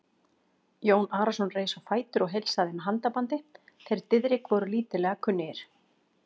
Jón Arason reis á fætur og heilsaði með handabandi, þeir Diðrik voru lítillega kunnugir.